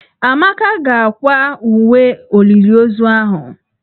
Amaka ga-akwa uwe olili ozu ahụ.